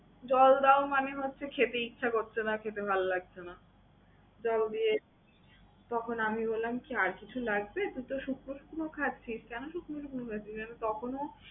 জল দাও মানে হচ্ছে খেতে ইচ্ছে করছে না খেতে ভালো লাগছে না। জল দিয়ে, তখন আমি বললাম কি আর কিছু লাগবে? তুই তো শুকনো শুকনো খাচ্ছিস, কেন শুকনো শুকনো খাচ্ছিস? আমি তখনও